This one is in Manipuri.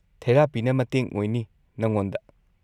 ꯊꯦꯔꯥꯄꯤꯅ ꯃꯇꯦꯡ ꯑꯣꯏꯅꯤ ꯅꯉꯣꯟꯗ꯫